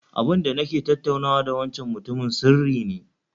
Abinda nake tattaunawa da wancan mutumin sirri ne